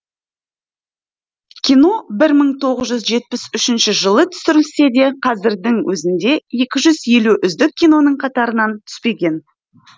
кино бір мың тоғыз жүз жетпіс үшінші жылы түсірілсе де қазірдің өзінде екі жүз елу үздік киноның қатарынан түспеген